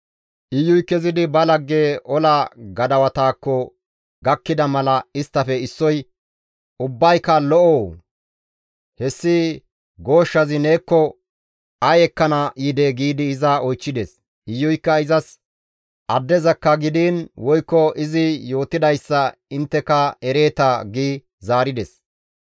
Iyuy kezidi ba lagge ola gadawatakko gakkida mala isttafe issoy, «Ubbayka lo7oo? Hessi gooshshazi neekko ay ekkana yidee?» giidi iza oychchides. Iyuykka izas, «Addezakka gidiin woykko izi yootidayssa intteka ereeta» gi zaarides.